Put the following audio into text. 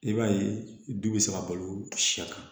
I b'a ye du bɛ se ka balo sɛ kan